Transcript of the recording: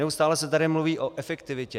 Neustále se tady mluví o efektivitě.